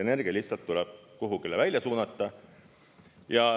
Energia lihtsalt tuleb kuhugile välja suunata.